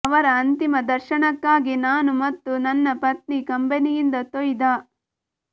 ಅವರ ಅಂತಿಮ ದರ್ಶನಕ್ಕಾಗಿ ನಾನು ಮತ್ತು ನನ್ನ ಪತ್ನಿ ಕಂಬನಿಯಿಂದ ತೊಯ್ದ